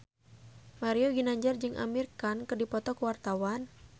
Mario Ginanjar jeung Amir Khan keur dipoto ku wartawan